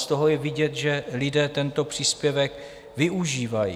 Z toho je vidět, že lidé tento příspěvek využívají.